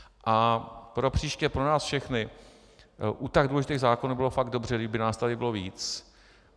A propříště pro nás všechny u tak důležitých zákonů by bylo fakt dobře, kdyby nás tady bylo víc.